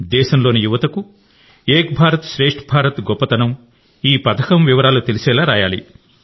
దేశంలోని యువతకు ఏక్ భారత్ శ్రేష్ఠ భారత్ గొప్పతనం ఈ పథకం వివరాలు తెలిసేలా రాయాలి